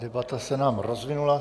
Debata se nám rozvinula.